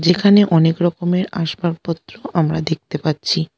এখানে অনেক রকমের আসবাপত্র আমরা দেখতে পাচ্ছি।